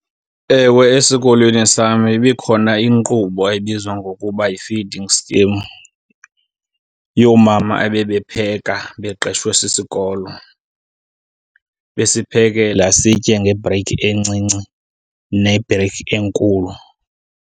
Ewe, esikolweni sam ibikhona inkqubo ebizwa ngokuba yi-feeding scheme yoomama ebebepheka beqeshwe sisikolo, besiphekela, sitye ngebhreyikhi encinci nebhreyikhi enkulu.